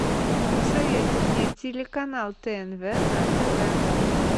посоветуй мне телеканал тнв на тв